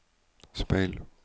speil